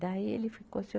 Daí ele ficou assim.